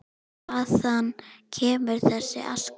Hvaðan kemur þessi aska?